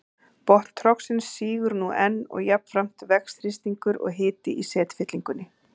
Botn trogsins sígur nú enn og jafnframt vex þrýstingur og hiti í setfyllingunni.